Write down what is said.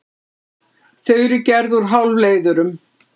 Þau eru gerð úr hálfleiðurum.